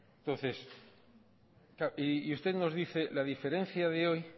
y usted nos dice la diferencia de hoy